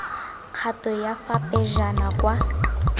kgato ya fa pejana kwa